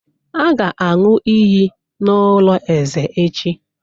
A ga-aṅụ iyi n'ụlọ eze echi